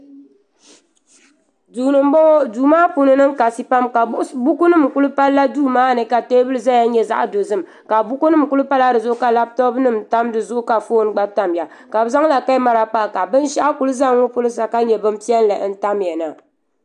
duu ni nbɔŋɔ duu maa puuni niŋ kasi pam ka buku nim ku palla duu maa ni ka teebuli ʒɛya nyɛ zaɣ dozim ka buku nim ku pala dizuɣu ka labtop nim pa dizuɣu ka foon gba tamya ka bi zaŋla kamɛra pa ka binshaɣu ku ʒɛ n ŋɔ pɔlɔ sa ka nyɛ bin piɛlli n tamya na